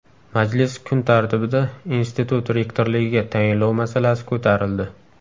Majlis kun tartibida institut rektorligiga tayinlov masalasi ko‘tarildi.